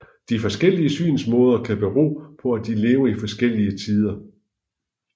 De forskellige synsmåder kan bero på at de levede i forskellige tider